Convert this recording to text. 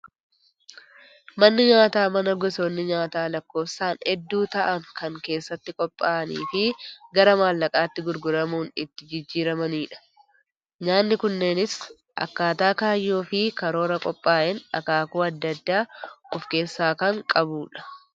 Manni nyaataa, mana gosoonni nyaataa lakkoofsaan hedduu ta'an kan keessatti qophaa'anii fi gara mallaqaatti gurguramuun itti jijjiiramanidha. Nyaanni kunneenis akkaataa kaayyoo fi karoora qophaa'een akaakuu addaa addaa of keessaa kan qabudha.